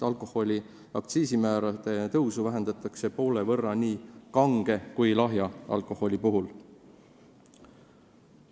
Alkoholi aktsiisimäärade tõusu vähendatakse poole võrra nii kange kui ka lahja alkoholi puhul.